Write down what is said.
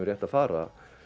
rétt að fara